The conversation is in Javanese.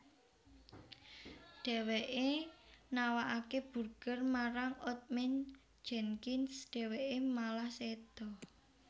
Dheweke nawakake burger marang Old Man Jenkins dheweke malah seda